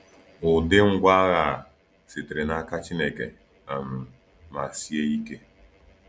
Ụdị ngwa agha a sitere n’aka Chineke um ma sie ike!